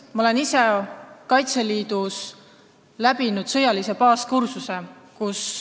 Ma olen ise Kaitseliidus läbi teinud sõjalise baaskursuse.